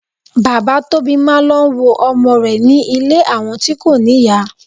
Bàbá Tóbi máa ń lọ wo ọmọ rẹ̀ ní ilé àwọn tí kò níyà.